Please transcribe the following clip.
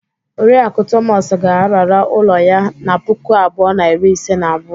Oriakụ Thomas ga-arara ụlọ ya na puku abuo na iri ise na abuo.